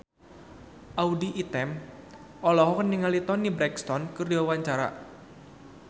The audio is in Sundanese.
Audy Item olohok ningali Toni Brexton keur diwawancara